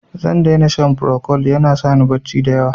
Zan dai na shan Procold, ya na sa ni barci da yawa.